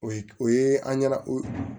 O ye o ye an ɲɛna o ye